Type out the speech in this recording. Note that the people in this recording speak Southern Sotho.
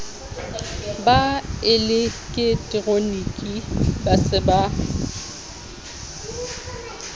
ba eleketeroniki ba se ba